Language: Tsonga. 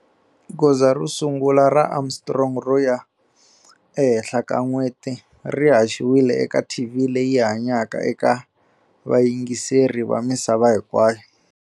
Goza ro sungula ra Armstrong ro ya ehenhla ka n'weti ri haxiwile eka TV leyi hanyaka eka vayingiseri va misava hinkwayo.